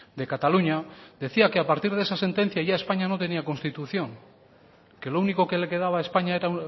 de cataluña decía que a partir de esa sentencia ya españa no tenía constitución que lo único que le quedaba a españa era